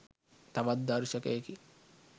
තවත් දර්ශකයකි..